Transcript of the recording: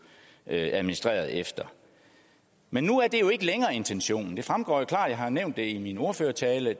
administrerede efter men nu er det jo ikke længere intentionen det fremgår jo klart af har nævnt det i min ordførertale